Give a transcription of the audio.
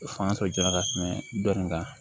O fanga tɔ jɔn bɛ ka tɛmɛ dɔ in kan